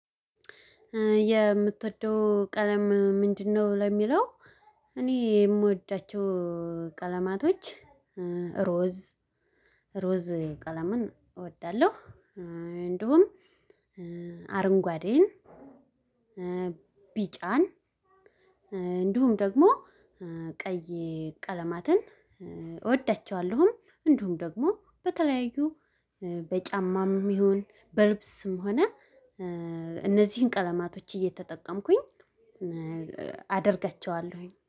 የምትወደው ቀለም ምንድነው? ለሚለው እኔ የምወዳቸው ቀለማቶች ዕሮዝ ቀለምን እወዳለሁ እንዲሁም አረንጓዴን ቢጫን እንዲሁም ደግሞ ቀይ ቀለማትን እወዳቸዋለሁም እንዲሁም ደግሞ በተለያዩ በጫማም ይሁን በልብስም ሆነ እነዚህን ቀለማቶች እየተጠቀምኩኝ አደርጋቸዋለሁኝ።